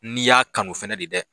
N'i y'a kanu fana de dɛ